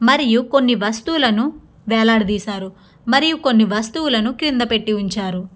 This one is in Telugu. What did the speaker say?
మరియు కొన్ని వస్తువులను వేలాడదీశారు. మరియు కొన్ని వస్తువులను కింద పెట్టి ఉంచారు.